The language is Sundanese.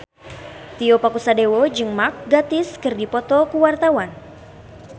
Tio Pakusadewo jeung Mark Gatiss keur dipoto ku wartawan